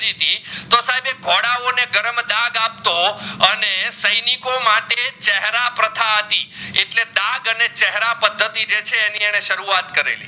નપટો અને સૈનિકો માટે છેરા પ્રથા હતી એટલે ડાગ અને છેરા પદ્ધતી જે છે એની એને સરુવત કરેલી